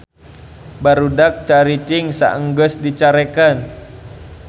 Barudak caricing saenggeus dicarekan